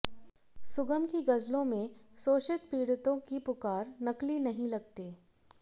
सुगम की गज़लों में शोषित पीड़ितों की पुकार नकली नहीं लगती